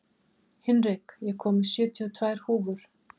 Hinrik, ég kom með sjötíu og tvær húfur!